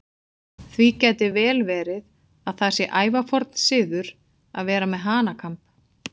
Því gæti vel verið að það sé ævaforn siður að vera með hanakamb.